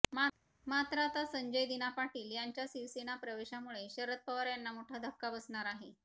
मात्र आता संजय दिना पाटील यांच्या शिवसेना प्रवेशामुळे शरद पवार यांना मोठा धक्का बसणार आहे